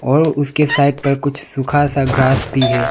और उसके साइड पर कुछ सुखा सा ग्रास भी है।